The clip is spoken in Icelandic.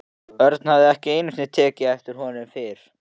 Örn hafði ekki einu sinni tekið eftir honum fyrr.